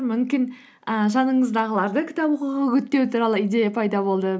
мүмкін і жаныңыздағыларды кітап оқуға үгіттеу туралы идея пайда болды